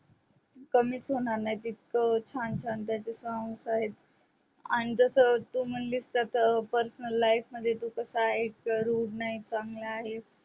कमीच होणार नाही तितक छान त्याचे song आहेत आणि जस तू म्हणलीस तस personal life मध्ये तो कसा आहे rude नाही चांगला आहे